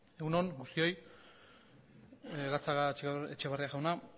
egun on guztioi gatzagaetxebarria jauna